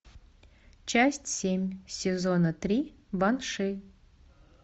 часть семь сезона три банши